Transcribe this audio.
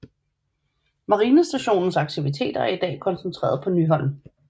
Marinestationens aktiviteter er i dag koncentreret på Nyholm